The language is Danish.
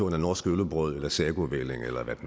af norsk øllebrød eller sagovælling eller hvad